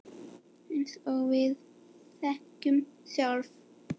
Eins og við þekkjum sjálf.